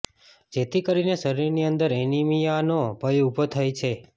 જેથી કરીને શરીરની અંદર એનિમિયાનો ભય ઊભો થાય છે